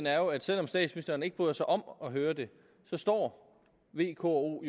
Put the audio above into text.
er jo at selv om statsministeren ikke bryder sig om at høre det står v k og